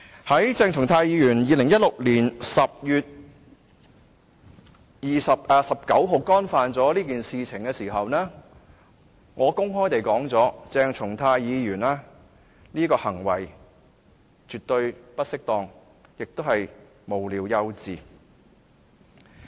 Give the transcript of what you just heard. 在鄭松泰議員於2016年10月19日干犯了這件事情後，我曾公開地表示，鄭松泰議員這個行為絕對不適當，而且是無聊幼稚。